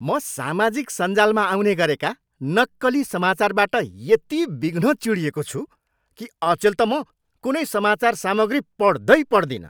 म सामाजिक सञ्जालमा आउने गरेका नक्कली समाचारबाट यति बिघ्न चिढिएको छु कि अचेल त म कुनै समाचार सामग्री पढ्दै पढ्दिनँ।